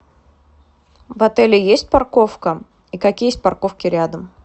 в отеле есть парковка и какие есть парковки рядом